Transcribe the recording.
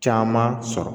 Caman sɔrɔ